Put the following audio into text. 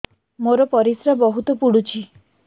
ମୋର ପରିସ୍ରା ବହୁତ ପୁଡୁଚି